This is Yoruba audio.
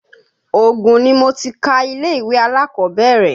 Ògùn ni mo ti ka ilé-ìwé alákọ̀kọ́bẹ́rẹ́